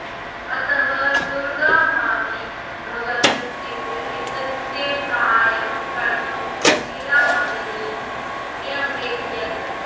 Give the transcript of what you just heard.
अतः दुर्गा भाभी भगत सिंह इत्यस्य साहाय्यं कर्तुं सुशीलाभगिनीं न्यवेदयत्